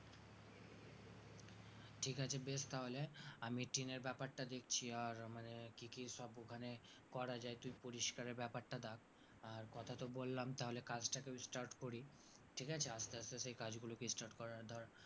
ঠিক আছে বেশ তাহলে আমি টিনের ব্যাপারটা দেখছি আর মানে কি কি সব ওখানে করা যাই তুই পরিস্কারের ব্যাপারটা দেখ আর কথাতো বললাম তাহলে কাজটা কেও start করি ঠিক আছে আস্তে আস্তে সেই কাজগুলোকে start করা দরকার